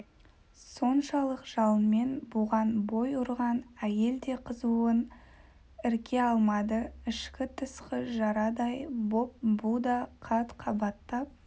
соншалық жалынмен бұған бой ұрған әйел де қызуын ірке алмады ішкі-тысқы жарадай боп бұ да қат-қабаттап